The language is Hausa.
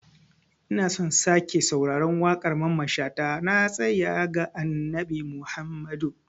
Ina so in sake sauraron waƙar Mamman shata "Na tasaya ga Annabi Muhammadu".